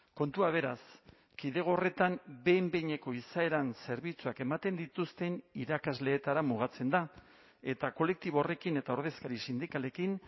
kontua beraz kidego horretan behin behineko izaeran zerbitzuak ematen dituzten irakasleetara mugatzen da eta kolektibo horrekin eta ordezkari sindikalekin